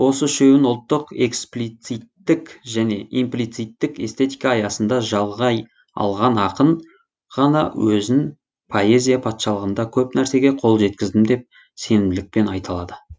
осы үшеуін ұлттық эксплициттік және имплицитік эстетика аясында жалғай алған ақын ғана өзін поэзия патшалығында көп нәрсеге қол жеткіздім деп сенімділікпен айта алады